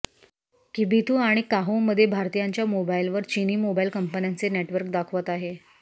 किबिथु आणि काहोमध्ये भारतीयांच्या मोबाइलवर चिनी मोबाइल कंपन्यांचे नेटवर्क दाखवत आहे